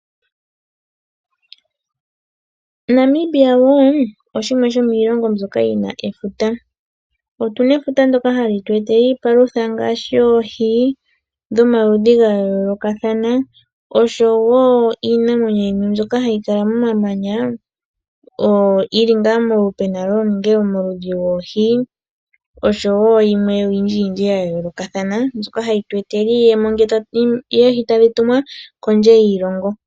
Namibia oshimwe shomiilongo mbyoka yina efuta. Otuna efuta ndoka hali tu etele iipalutha ngaashi oohi dhomaludhi ga yoolokathana oshowo iinamwenyo yimwe mbyoka hayi kala momamanya. Puna ngaa omaludhi goohi oshowo yilwe oyindji ya yoolokathana mbyoka hayi tu etele iiyemo ngele tadhi tumwa kondje yiilongo.